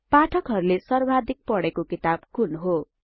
पाठकहरुले सर्वाधिक पढेको किताब कुन हो